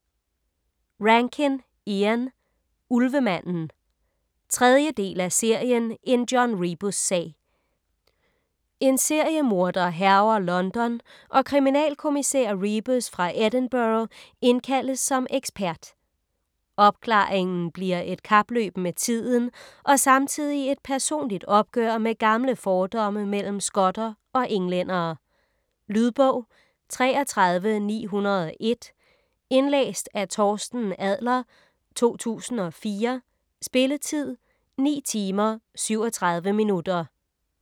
Rankin, Ian: Ulvemanden 3. del af serien En John Rebus-sag. En seriemorder hærger London, og kriminalkommissær Rebus fra Edinburgh indkaldes som ekspert. Opklaringen bliver et kapløb med tiden og samtidig et personligt opgør med gamle fordomme mellem skotter og englændere. Lydbog 33901 Indlæst af Torsten Adler, 2004. Spilletid: 9 timer, 37 minutter.